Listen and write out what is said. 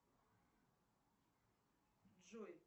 джой